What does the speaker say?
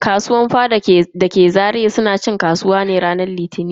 Kasuwar faɗa dake Zaria suna cin kasuwa ne a ranar Litini.